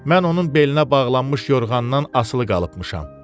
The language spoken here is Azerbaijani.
Mən onun belinə bağlanmış yorğandan asılı qalıbmışam.